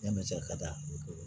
Yani cɛ ka taa